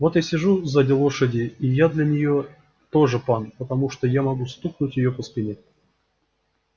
вот я сижу сзади лошади и я для неё тоже пан потому что я могу стукнуть её по спине